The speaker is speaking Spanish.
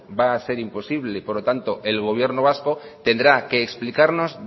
va a ser imposible por lo tanto el gobierno vasco tendrá que explicarnos